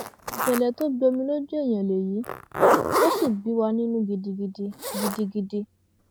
ìṣẹlẹ tó gbomi lójú èèyàn lèyí ò sì bí wa nínú gidigidi gidigidi